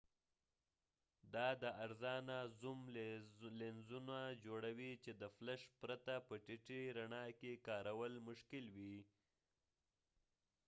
دا د ارزانه زوم لینزونه جوړوي چې د فلش پرته په ټیټې رڼا کې کارول مشکل وي